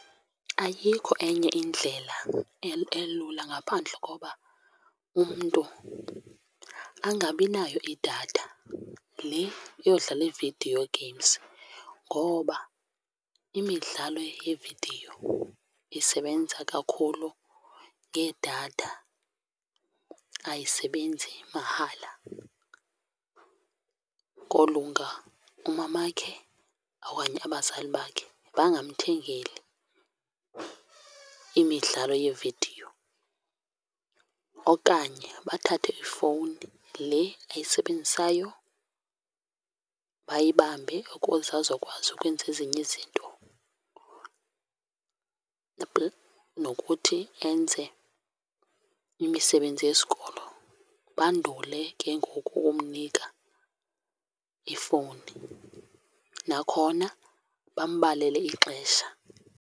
Ayikho enye indlela elula ngaphandle koba umntu angabinayo idatha le yodlala ii-video games, ngoba imidlalo yevidiyo isebenza kakhulu ngedatha, ayisebenzi mahala. Kolunga umamakhe okanye abazali bakhe bangamthengeli imidlalo yevidiyo okanye bathathe ifowuni le ayisebenzisayo bayibambe ukuze azokwazi ukwenza ezinye izinto, nokuthi enze imisebenzi yesikolo. Bandule ke ngoku ukumnika ifowuni, nakhona bambalele ixesha.